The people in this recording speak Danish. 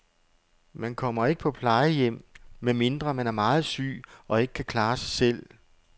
Man kommer ikke på plejehjem, medmindre man er meget syg og ikke kan klare sig selv.